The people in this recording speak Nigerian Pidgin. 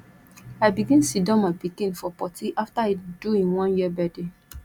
i begin siddon my pikin for potty after e do im one year birthday